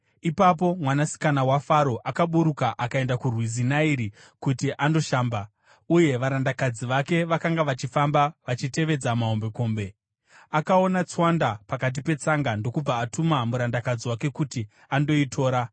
Ipapo mwanasikana waFaro akaburuka akaenda kurwizi Nairi kuti andoshamba, uye varandakadzi vake vakanga vachifamba vachitevedza mahombekombe. Akaona tswanda pakati petsanga ndokubva atuma murandakadzi wake kuti andoitora.